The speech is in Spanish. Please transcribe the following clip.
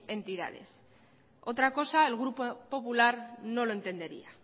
entidades otra cosa el grupo popular no lo entendería